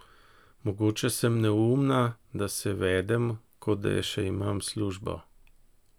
Mogoče sem neumna, da se vedem, kot da še imam službo.